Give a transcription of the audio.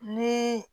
Ni